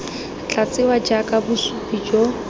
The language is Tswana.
tla tsewa jaaka bosupi jo